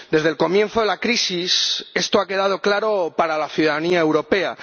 Desde el comienzo de la crisis, esto ha quedado claro para la ciudadanía europea.